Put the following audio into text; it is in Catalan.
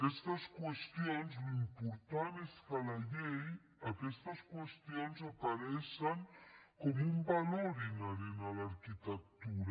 aquestes qüestions l’important és que a la llei aquestes qüestions apareixen com un valor inherent a l’arquitectura